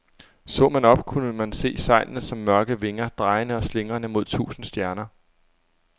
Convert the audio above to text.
Så man op, kunne man se sejlene som mørke vinger, drejende og slingrende mod tusinde stjerner.